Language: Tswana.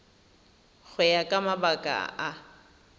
go ya ka mabaka a